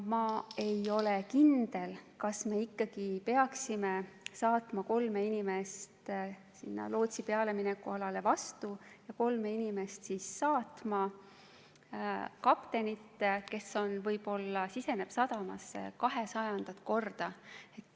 Ma ei ole kindel, kas me ikka peame saatma kolm inimest sinna lootsi pealemineku alale vastu, kas need kolm inimest peavad saatma kaptenit, kes võib-olla siseneb sadamasse kahesajandat korda.